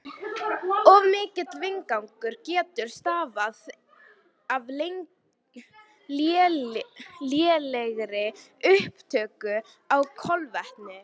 Of mikill vindgangur getur stafað af lélegri upptöku á kolvetnum.